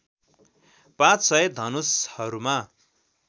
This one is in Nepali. पाँच सय धनुषहरूमा